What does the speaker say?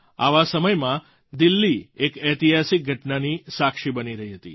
આવા સમયમાં દિલ્લી એક ઐતિહાસિક ઘટનાની સાક્ષી બની રહી હતી